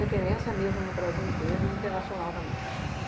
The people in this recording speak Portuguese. Referência mesmo no Brasil inteiro e internacional também.